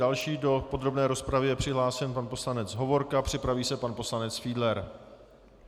Další do podrobné rozpravy je přihlášen pan poslanec Hovorka, připraví se pan poslanec Fiedler.